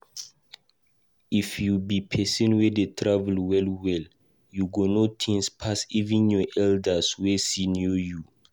If you be pesin wey dey travel well well, u go know things pas even your elders wey senior you